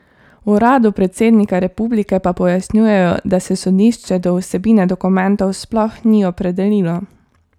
V uradu predsednika republike pa pojasnjujejo, da se sodišče do vsebine dokumentov sploh ni opredelilo.